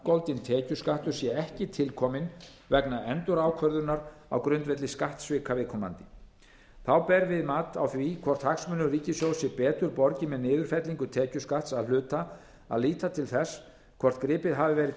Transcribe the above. vangoldinn tekjuskattur sé ekki til kominn vegna endurákvörðunar á grundvelli skattsvika viðkomandi þá ber við mat á því hvort hagsmunum ríkissjóðs sé betur borgið með niðurfellingu tekjuskatts að hluta að líta til þess hvort gripið hafi verið